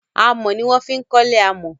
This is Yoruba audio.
amò ní wan fí ko'le amò